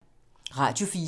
Radio 4